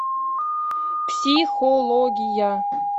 психология